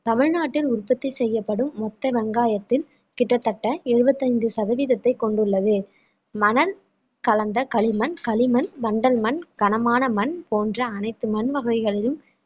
தமிழ்நாட்டில் உற்பத்தி செய்யப்படும் மொத்த வெங்காயத்தில் கிட்டத்தட்ட எழுபத்தி ஐந்து சதவீதத்தை கொண்டுள்ளது மணல் கலந்த களிமண் களிமண் வண்டல் மண் கனமான மண் போன்ற அனைத்து மண் வகைகளிலும்